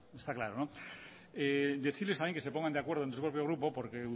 está claro decirles también que se pongan de acuerdo en su propio grupo porque